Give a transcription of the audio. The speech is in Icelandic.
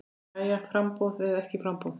Jæja framboð eða ekki framboð?